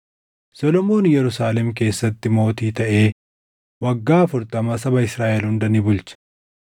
Solomoon Yerusaalem keessatti mootii taʼee waggaa afurtama saba Israaʼel hunda ni bulche.